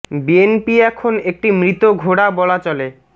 B N P এখন একটি মৃত ঘোড়া বলা চলে